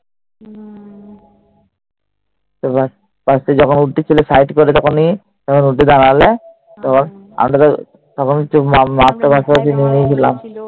তারপর যখন উঠেছিলে side করে দেখনি, যখন উঠে দাঁড়ালে,